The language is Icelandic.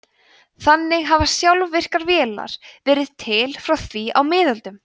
þannig hafa sjálfvirkar vélar verið til frá því á miðöldum